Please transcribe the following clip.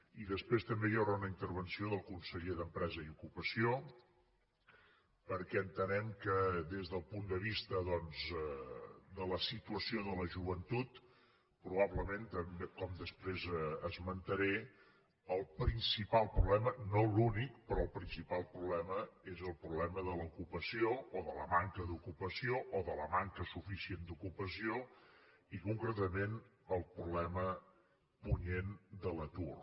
i després també hi haurà una intervenció del conseller d’empresa i ocupació perquè entenem que des del punt de vista doncs de la situació de la joventut probablement com després esmentaré el principal problema no l’únic però el principal problema és el problema de l’ocupació o de la manca d’ocupació o de la manca suficient d’ocupació i concretament el problema punyent de l’atur